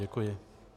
Děkuji.